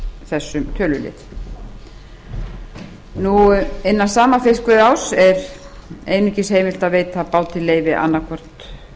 þessum tölulið innan sama fiskveiðiárs er einungis heimilt að veita báti leyfi annaðhvort